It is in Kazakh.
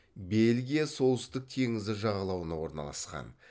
белгия солтүстік теңізі жағалауына орналасқан